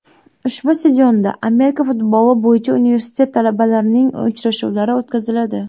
Ushbu stadionda Amerika futboli bo‘yicha universitet talabalarining uchrashuvlari o‘tkaziladi.